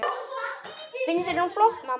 Finnst þér hún flott, mamma?